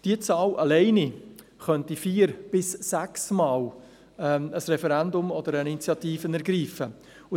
Mit dieser Zahl allein könnte vier- bis sechsmal ein Referendum oder eine Initiative ergriffen werden.